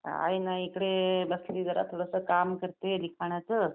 काय नाही इकडे लक्ष्मी जरासं काम करते लिखाणाचं.